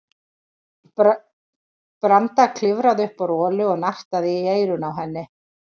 Branda klifraði upp á Rolu og nartaði í eyrun á henni.